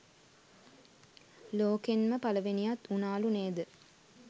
ලෝකෙන්ම පළවෙනියත් වුනාලු නේද.